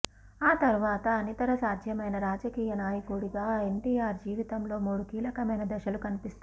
ఆ తరువాత అనితర సాధ్యమైన రాజకీయనాయకుడిగా ఎన్టీఆర్ జీవితంలో మూడు కీలకమైన దశలు కనిపిస్తాయి